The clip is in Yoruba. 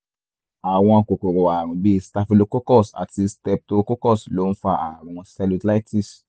àwọn kòkòrò ààrùn bíi staphylococcus àti streptococcus ló ń fa ààrùn cellulitis